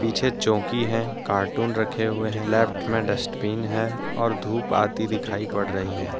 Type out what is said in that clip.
पीछे चौकी हैकार्टून रखे हुए हैं लेफ्ट में डस्टबिन है और धूप आती दिखाई पड़ रही हैं।